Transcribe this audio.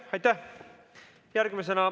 Aitäh!